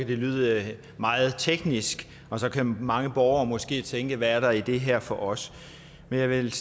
det lyde meget teknisk og så kan mange borgere måske tænke hvad er der i det her for os men jeg vil